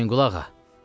Hüseynqulu ağa!